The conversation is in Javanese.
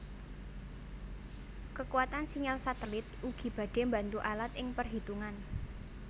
Kekuatan sinyal satelit ugi badhe mbantu alat ing penghitungan